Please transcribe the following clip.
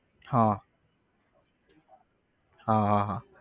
હા હા હા હા